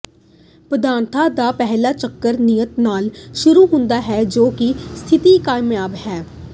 ਪ੍ਰਾਰਥਨਾ ਦਾ ਪਹਿਲਾ ਚੱਕਰ ਨਿਆਤ ਨਾਲ ਸ਼ੁਰੂ ਹੁੰਦਾ ਹੈ ਜੋ ਕਿ ਸਥਿਤੀ ਕਯਾਮ ਹੈ